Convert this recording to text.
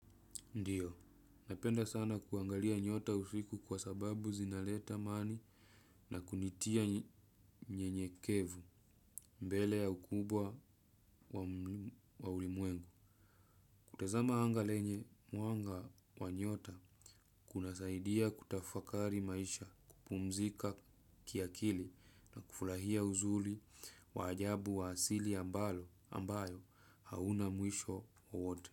Ndiyo, napenda sana kuangalia nyota usiku kwa sababu zinaleta mani na kunitia nyenyekevu mbele ya ukubwa wa ulimwengu. Kutazama anga lenye mwanga wa nyota kunasaidia kutafakari maisha kupumzika kiakili na kufulahia uzuli wa ajabu wa asili ambayo hauna mwisho wowote.